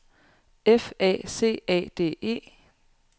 F A C A D E